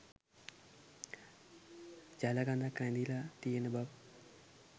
ජල කඳක් රැඳිලා තියෙන බව